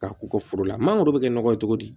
Ka u ka foro la mangoro bɛ kɛ nɔgɔ di